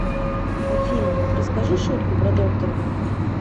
афина расскажи шутку про доктора